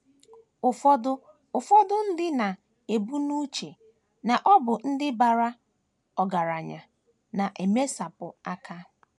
Ụfọdụ Ụfọdụ ndị na - ebu n’uche na ọ bụ ndị bara ọgaranya na - emesapụ aka.